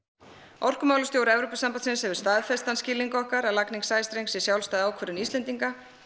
orkumálastjóri Evrópusambandsins hefur staðfest þann skilning okkar að lagning sæstrengs sé sjálfstæð ákvörðun Íslendinga